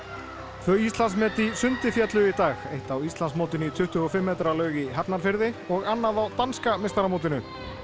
tvö Íslandsmet í sundi féllu í dag eitt á Íslandsmótinu í tuttugu og fimm metra laug í Hafnarfirði og annað á danska meistaramótinu